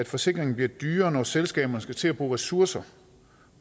forsikringen bliver dyrere når selskaberne skal til at bruge ressourcer